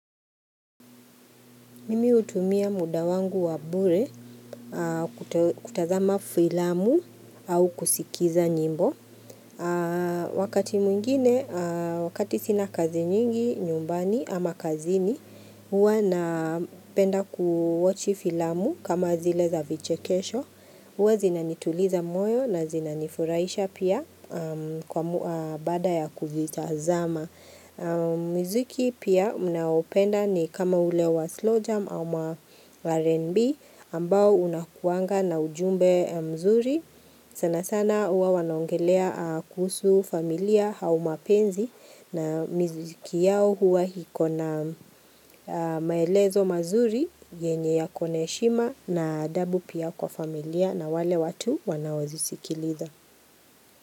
Mimi hutumia muda wangu wa bure kutazama filamu au kusikiza nyimbo. Wakati mwingine, wakati sina kazi nyingi, nyumbani ama kazini, huwa napenda kutazama filamu kama zile za vichekesho. Huwa zinanituliza moyo na zinanifurahisha pia baada ya kuzitazama. Muzuki pia ninaoupenda ni kama ulewa slowjam ama RNB ambao huwa na ujumbe mzuri; sanasana huwa wanongelea kuhusu familia au mapenzi, na miziki huwa na maelezo mazuri, yenye yana heshima na adabu pia kwa familia na wale watu wanaoazisikiliza.